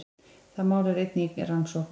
Það mál er einnig í rannsókn